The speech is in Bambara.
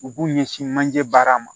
U b'u ɲɛsin manje baara ma